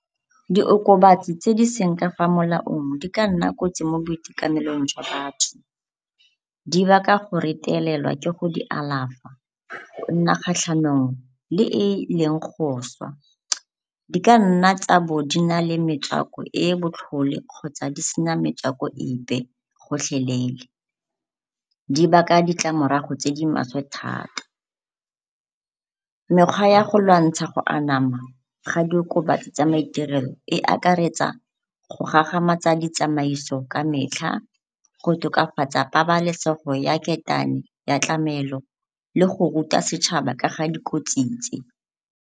Diokobasi tse di seng ka fa molaong di ka nna kotsi mo boitekanelong jwa batho. Di baka go retelelwa ke go di alafa, go nna kgatlhanong le e e leng go swa. Di ka nna tsa bo di na le metswako e e botlhole kgotsa di sa metswako epe gotlhelele, di baka ditlamorago tse di maswe thata. Mekgwa ya go lwantsha go anama ga diokobatsi tsa maiterelo e akaretsa go gagamatsa ditsamaiso ka metlha, go tokafatsa pabalesego ya ketane ya tlamelo le go ruta setšhaba ka ga dikotsi tse.